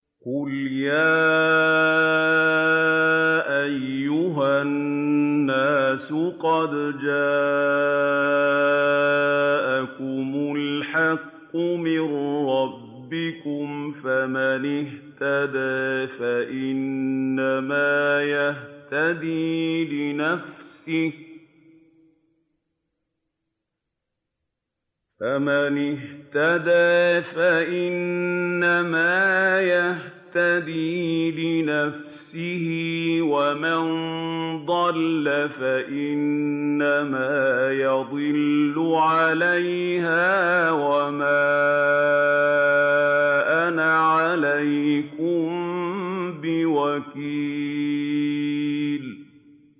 قُلْ يَا أَيُّهَا النَّاسُ قَدْ جَاءَكُمُ الْحَقُّ مِن رَّبِّكُمْ ۖ فَمَنِ اهْتَدَىٰ فَإِنَّمَا يَهْتَدِي لِنَفْسِهِ ۖ وَمَن ضَلَّ فَإِنَّمَا يَضِلُّ عَلَيْهَا ۖ وَمَا أَنَا عَلَيْكُم بِوَكِيلٍ